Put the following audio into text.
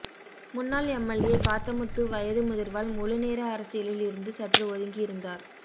முன்னாள் எம்எல்ஏ காத்தமுத்து வயது முதிர்வால் முழு நேர அரசியலில் இருந்து சற்று ஒதுங்கி இருந்தார்